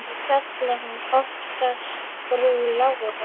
Ég kalla hana oftast frú Láru.